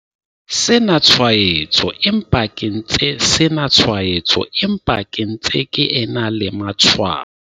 sena tshwaetso empa ke ntse sena tshwaetso empa ke ntse ke ena le matshwao.